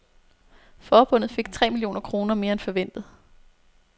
Forbundet fik tre millioner kroner mere end forventet.